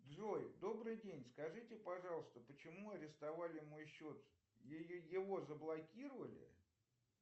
джой добрый день скажите пожалуйста почему арестовали мой счет его заблокировали